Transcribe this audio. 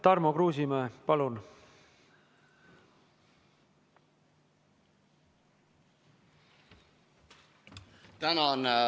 Tarmo Kruusimäe, palun!